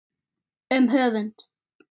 Um höfund